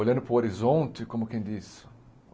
Olhando para o horizonte, como quem diz?